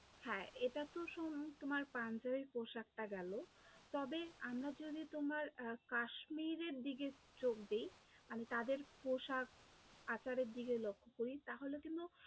হ্যাঁ, এটা তো সোম তোমার পাঞ্জাবি পোশাকটা গেলো, তবে আমরা যদি তোমার আহ কাশ্মীরের দিকে চোখ দিই, আমি তাদের পোশাক আচারের দিকে লক্ষ্য করি তাহলে কিন্তু